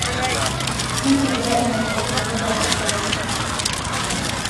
intigira imaikirofoni tapasali